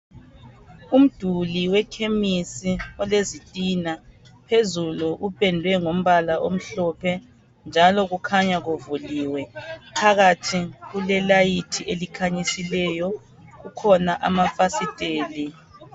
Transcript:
Umduli wekhemisi olezitina phezulu upendwe ngombala omhlophe njalo kukhanya kuvuliwe phakathi kulelayithi elikhanyisileyo kukhona amafasiteli.